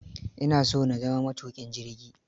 Ina so na zama matuƙin jirgi.